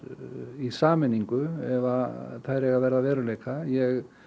í sameiningu ef þær eiga að verða að veruleika ég